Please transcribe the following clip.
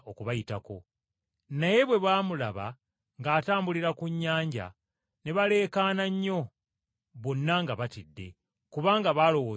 Naye bwe baamulaba ng’atambulira ku nnyanja ne baleekaana nnyo, bonna, nga batidde, kubanga baalowooza nti muzimu,